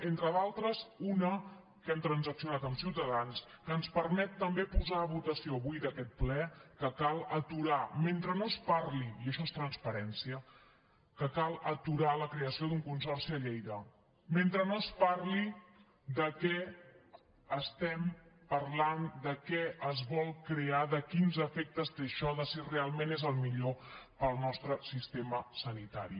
entre d’altres una que hem transaccionat amb ciutadans que ens permet també posar a votació avui d’aquest ple que cal aturar i això és transparència la creació d’un consorci a lleida mentre no es parli de què parlem de què es vol crear de quins efectes té això de si realment és el millor per al nostre sistema sanitari